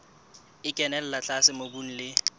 e kenella tlase mobung le